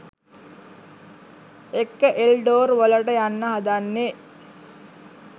එක්ක එල්ඩොර් වලට යන්න හදන්නේ.